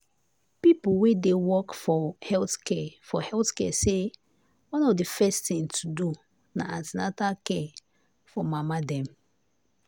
people wey dey work for health care for health care say one of the first things to do na an ten atal care for mama dem.